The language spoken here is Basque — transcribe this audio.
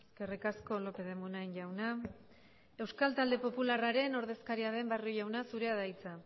eskerrik asko lópez de munain jauna euskal talde popularraren ordezkaria den barrio jauna zurea da hitza